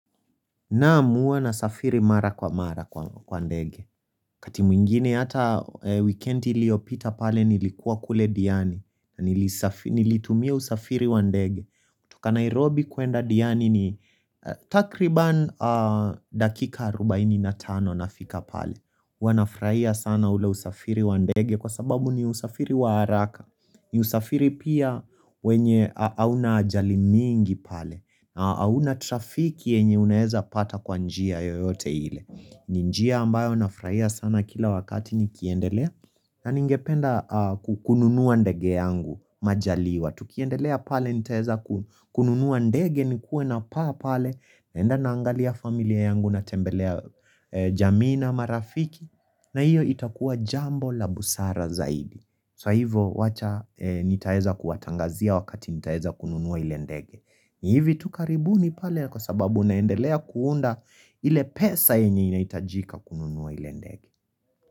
Naam huwa na safiri mara kwa mara kwa ndege. Wakati mwingine hata weekend iliopita pale nilikuwa kule diani. Nilitumia usafiri wa ndege. Toka Nairobi kuenda diani ni takriban dakika 45 nafika pale. Huanafuraia sana ule usafiri wa ndege kwa sababu ni usafiri wa haraka. Ni usafiri pia wenye auna ajali nyingi pale. Na hauna trafiki yenye unaeza pata kwa njia yoyote ile ni njia ambayo nafuraia sana kila wakati ni kiendelea na ningependa kukununua ndege yangu majaliwa Tukiendelea pale nitaeza kukununua ndege ni kuwe na paa pale naenda naangalia familia yangu natembelea jamii na marafiki na hiyo itakuwa jambo la busara zaidi So hivo wacha nitaeza kuwatangazia wakati nitaeza kununua ile ndege ni hivi tukaribuni pale kwa sababu naendelea kuunda ile pesa yenye inaitajika kununua ile ndege.